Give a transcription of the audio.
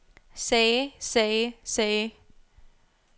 sagde sagde sagde